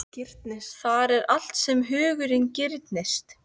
Þar er allt sem hugurinn girnist